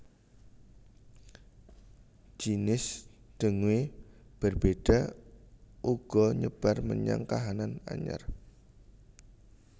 Jinis dengue berbeda uga nyebar menyang kahanan anyar